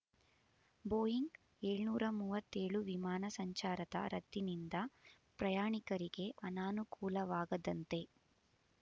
Boeing ಏಳುನೂರ ಮೂವತ್ತೇಳು ವಿಮಾನ ಸಂಚಾರದ ರದ್ದಿನಿಂದ ಪ್ರಯಾಣಿಕರಿಗೆ ಅನಾನುಕೂಲವಾಗದಂತೆ